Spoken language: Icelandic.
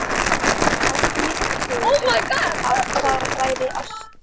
Ég taldi mér trú um að það væri ást.